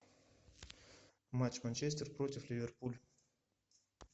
матч манчестер против ливерпуль